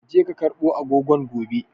Ka je ka karbo agogon a gobe!